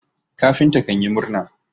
kafinta kanyi murna